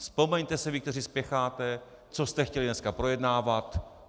Vzpomeňte si vy, kteří spěcháte, co jste chtěli dneska projednávat.